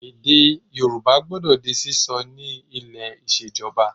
Èdè Yorùbá gbọdọ di sísọ ni ilé ìṣèjọba